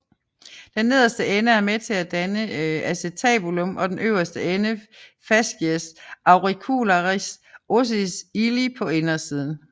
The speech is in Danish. Den nederste ende er med til at danne acetabulum og den øverste ende fascies auricularis ossis illi på indersiden